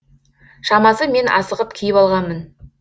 шамасы мен асығып киіп алғанмын